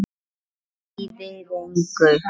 Kvíðið engu!